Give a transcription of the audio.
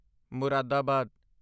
Moradabad